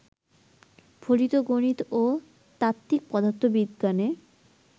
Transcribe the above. ফলিত গণিত ও তাত্ত্বিক পদার্থবিজ্ঞানে